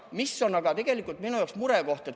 Mis on tegelikult minu jaoks murekoht?